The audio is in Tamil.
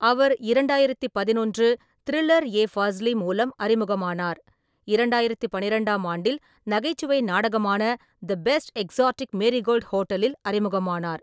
அவர் இரண்டாயிரத்து பதினொன்று த்ரில்லர் ஏ ஃபாஸ்லி மூலம் அறிமுகமானார், இரண்டாயிரத்து பன்னிரெண்டாம் ஆண்டில் நகைச்சுவை நாடகமான தி பெஸ்ட் எக்ஸோடிக் மேரிகோல்ட் ஹோட்டலில் அறிமுகமானார்.